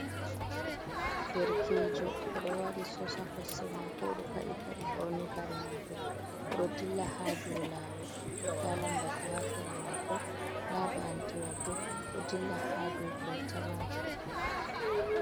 Derkejo oɗo waɗi soks ha kosɗe mako oɗo paɗi paɗe ɓorni kare mako, oɗo dilla ha dow lawol nda lambatu ha sera mako nda ba’antewa bo ɗo dilla ha dow kolta majum.